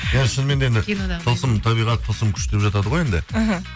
иә шынымен де енді тылсым табиғат тылсым күш деп жатады ғой енді іхі